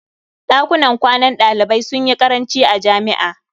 Ɗakunan kwanan ɗalibai sun yi ƙaranci a jami'a.